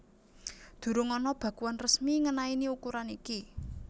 Durung ana bakuan resmi ngenaini ukuran iki